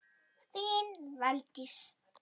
Þín Valdís.